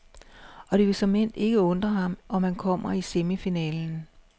Og det vil såmænd ikke undre ham, om han kommer i semifinalen.